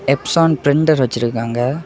Exon blender வச்சிருக்காங்க.